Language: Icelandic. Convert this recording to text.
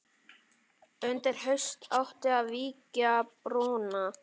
Undir haust átti að vígja brúna.